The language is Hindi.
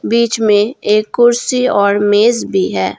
बीच में एक कुर्सी और मेज भी है।